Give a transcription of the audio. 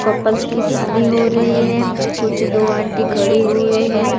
Couples की शादी हो रही है कुछ दो आंटी खड़ी हुए है।